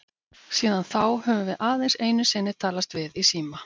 Síðan þá höfum við aðeins einu sinni talast við í síma.